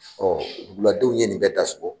duguladenw ye nin bɛ dasɔgɔ